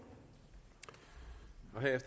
her